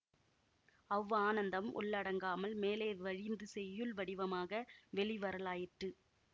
அவ்வானந்தம் உள்ளடங்காமல் மேலே வழிந்து செய்யுள் வடிவமாக வெளி வரலாயிற்று